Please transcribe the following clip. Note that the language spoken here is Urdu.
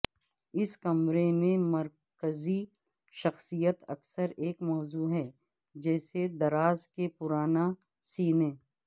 اس کمرے میں مرکزی شخصیت اکثر ایک موضوع ہے جیسے دراز کے پرانا سینے